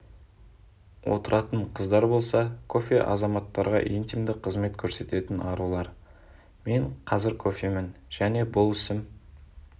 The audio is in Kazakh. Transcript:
отыратын қыздар болса кофе азаматтарға интимді қызмет көрсететін арулар мен қазір кофемін және бұл ісім